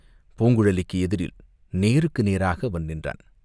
பூங்குழலிக்கு எதிரில் நேருக்கு நேராக அவன் நின்றான்.